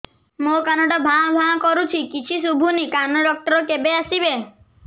ମୋ କାନ ଟା ଭାଁ ଭାଁ କରୁଛି କିଛି ଶୁଭୁନି କାନ ଡକ୍ଟର କେବେ ଆସିବେ